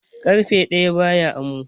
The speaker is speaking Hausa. Ƙarfe ɗaya ba ya amo.